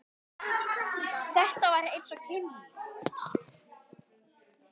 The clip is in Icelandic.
Þetta var eins og kynlíf.